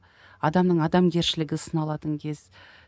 адамның адамгершілігі сыналатын кез